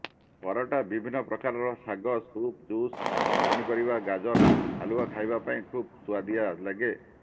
ପରଟା ବିଭିନ୍ନ ପ୍ରକାରର ଶାଗ ସୁପ୍ ଜୁସ୍ ପନିପରିବା ଗାଜର ହାଲୱା ଖାଇବା ପାଇଁ ଖୁବ ସୁଆଦିଆ ଲାଗେ